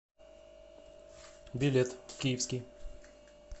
билет киевский